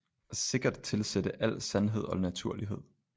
Sikkert tilsætte al sandhed og naturlighed